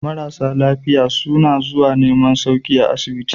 Marasa lafiya suna zuwa neman sauki a asibiti.